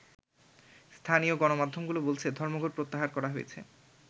স্থানীয় গণমাধ্যমগুলো বলছে ধর্মঘট প্রত্যাহার করা হয়েছে।